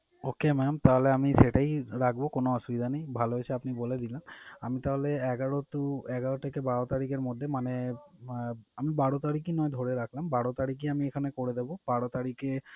Okay mam তাহলে আমি সেটাই রাখবো কোন অসুবিধা নেই। ভালো হয়েছে আপনি বলে দিলেন। আমি তাহলে এগারো to এগারো থেকে বারো তারিখের মধ্যে মানে আহ আমি বারো তারিখই নয় ধরে রাখলাম। বারো তারিখই আমি এখানে করে দেবো। বারো তারিখে,